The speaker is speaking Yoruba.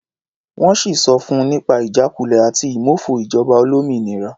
Wọ́n sì sọ fun nípa ìjákulẹ̀ àti ìmófo ìjọba olómìnira.